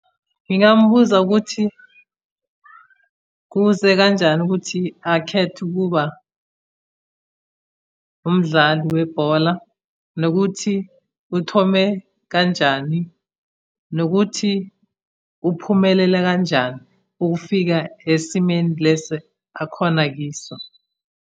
Ngingambuza ukuthi kuze kanjani ukuthi akhethe ukuba umdlali webhola, nokuthi uthome kanjani, nokuthi uphumelela kanjani ukufika esimeni lesi akhona kiso.